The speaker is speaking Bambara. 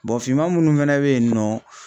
finman munnu fɛnɛ be yen nɔ